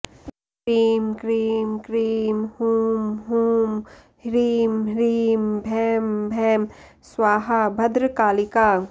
cream क्रीं क्रीं हूं हूं ह्रीं ह्रीं भैं भैं स्वाहा भद्रकालिका